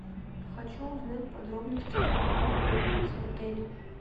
хочу узнать подробности про банный комплекс в отеле